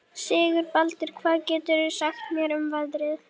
Sigurbaldur, hvað geturðu sagt mér um veðrið?